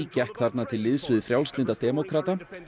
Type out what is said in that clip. gekk þarna til liðs við Frjálslynda demókrata